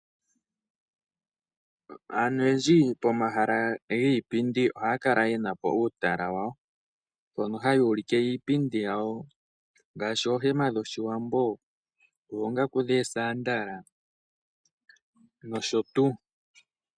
Aantu oyendji pomahala giipindi ohaya kala yena uutala wawo mpono hayuulikile iipindi yawo ngaashi oohema dhoshiwambo, oongaku dhoosandala nosho tuu.